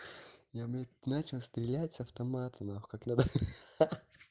я блять начал стрелять с автомата нахуй как надо ха-ха